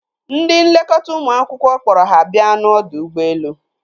Ndị nlekọta ụmụ akwụkwọ kpọrọ ha bia n'ọdọ ụgbọelu.